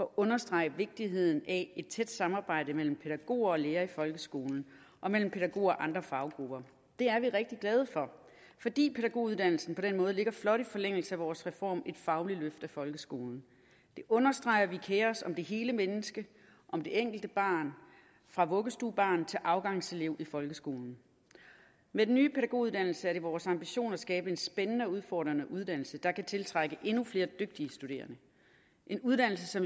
understrege vigtigheden af et tæt samarbejde mellem pædagoger og lærere i folkeskolen og mellem pædagoger og andre faggrupper det er vi rigtig glade for fordi pædagoguddannelsen på den måde ligger flot i forlængelse af vores reform et fagligt løft af folkeskolen det understreger at vi kerer os om det hele menneske om det enkelte barn fra vuggestuebarn til afgangselev i folkeskolen med den nye pædagoguddannelse er det vores ambition at skabe en spændende og udfordrende uddannelse der kan tiltrække endnu flere dygtige studerende en uddannelse